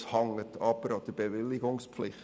Das hängt jedoch auch an der Bewilligungspflicht.